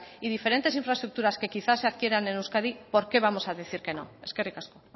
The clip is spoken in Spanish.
y diferentes infraestructuras que quizá se adquieran en euskadi por qué vamos a decir que no eskerrik asko